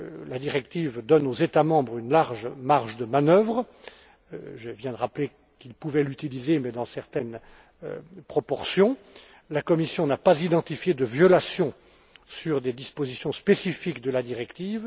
La directive donne aux États membres une large marge de manœuvre je viens de rappeler qu'ils pouvaient l'utiliser mais dans certaines proportions elle n'a pas identifié de violations de dispositions spécifiques de la directive.